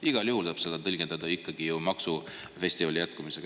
Igal juhul tuleb seda tõlgendada ju maksufestivali jätkumisena.